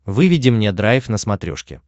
выведи мне драйв на смотрешке